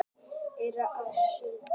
Eyrnamörk á sauðfé.